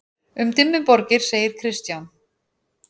Um Dimmuborgir segir Kristján: